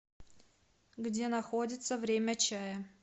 где находится время чая